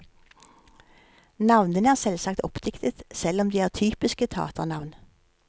Navnene er selvsagt oppdiktet, selv om de er typiske taternavn.